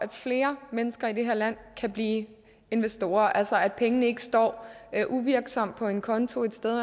at flere mennesker i det her land kan blive investorer altså at pengene ikke står uvirksomme på en konto et sted